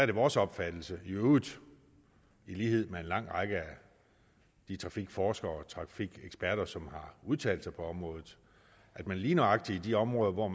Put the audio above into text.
det vores opfattelse i øvrigt i lighed med en lang række af de trafikforskere og trafikeksperter som har udtalt sig på området at man lige nøjagtig i de områder hvor